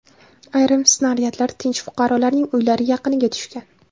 Ayrim snaryadlar tinch fuqarolarning uylari yaqiniga tushgan.